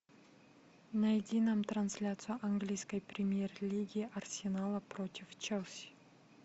найди нам трансляцию английской премьер лиги арсенала против челси